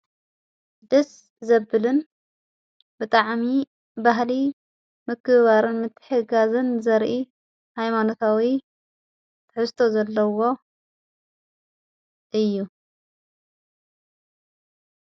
ድስ ዘብልን ብጥዓሚ ባህሊ ምክብባርን ምትሕግጋዝን ዘርኢ ሃይማኑታዊ ተሕስቶ ዘለዎ እዩ።